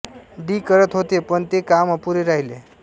D करत होते पण ते काम अपुरे राहिले